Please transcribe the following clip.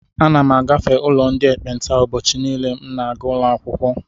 Ana m agafe ụlọ ndị ekpenta ụbọchị niile m na-aga ụlọakwụkwọ.